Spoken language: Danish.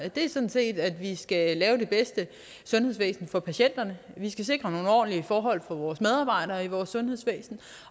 er sådan set at vi skal lave det bedste sundhedsvæsen for patienterne vi skal sikre nogle ordentlige forhold for vores medarbejdere i vores sundhedsvæsen